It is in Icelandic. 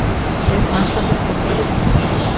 Við framkvæmdum þetta fullkomlega.